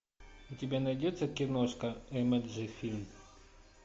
у тебя найдется киношка эмоджи фильм